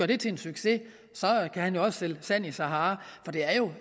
det til en succes kan han også sælge sand i sahara for det er jo